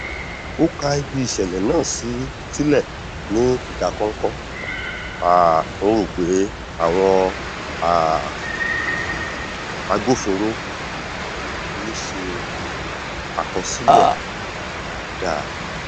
ó ká ibi ìṣẹlẹ náà sílẹ ní ìdákọnkọ um n rò pé àwọn um agbófinro ò ní ṣe àkọsílẹ rẹ dáadáa